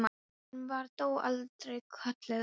Hún var þó aldrei kölluð Lilla.